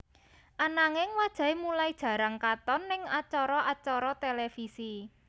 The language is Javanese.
Ananging wajahé mulai jarang katon ning acara acara televisi